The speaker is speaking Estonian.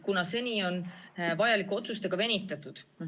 Seni on vajalike otsustega venitatud.